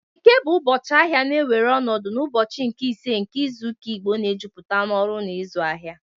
Eke bụ ụbọchị ahịa na-ewere ọnọdụ n'ụbọchị nke ise nke izu ụka Igbo na-ejupụta n'ọrụ na ịzụ ahịa